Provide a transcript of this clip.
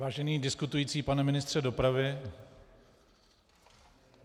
Vážený diskutující pane ministře dopravy...